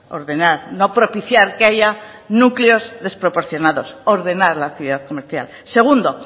ordenar no propiciar que haya núcleos desproporcionados ordenar la ciudad comercial segundo